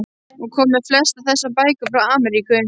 Hún kom með flestar þessar bækur frá Ameríku.